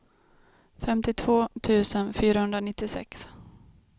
femtiotvå tusen fyrahundranittiosex